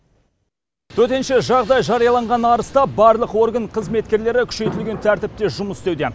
төтенше жағдай жарияланған арыста барлық орган қызметкерлері күшейтілген тәртіпте жұмыс істеуде